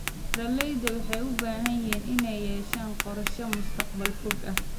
Beeralayda waxay u baahan yihiin inay yeeshaan qorshayaal mustaqbalka fog ah.